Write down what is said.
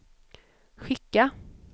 skicka